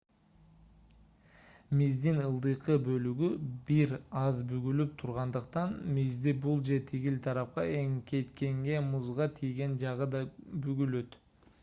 миздин ылдыйкы бөлүгү бир аз бүгүлүп тургандыктан мизди бул же тигил тарапка эңкейткенде музга тийген жагы да бүгүлөт